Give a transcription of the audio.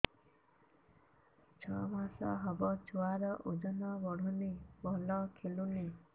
ଛଅ ମାସ ହବ ଛୁଆର ଓଜନ ବଢୁନି ଭଲ ଖେଳୁନି